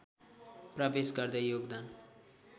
प्रवेश गर्दै योगदान